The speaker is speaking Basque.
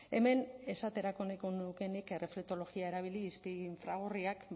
hemen esaterako nahiko nuke nik erreflektologia erabili izpi infragorriak